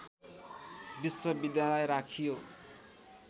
विश्वविद्यालय राखियो